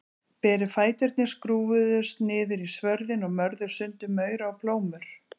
Berir fæturnir skrúfuðust niður í svörðinn og mörðu sundur maura og plómur.